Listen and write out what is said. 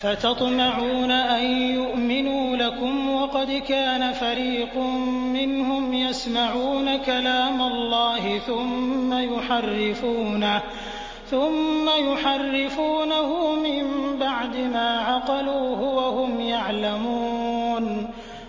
۞ أَفَتَطْمَعُونَ أَن يُؤْمِنُوا لَكُمْ وَقَدْ كَانَ فَرِيقٌ مِّنْهُمْ يَسْمَعُونَ كَلَامَ اللَّهِ ثُمَّ يُحَرِّفُونَهُ مِن بَعْدِ مَا عَقَلُوهُ وَهُمْ يَعْلَمُونَ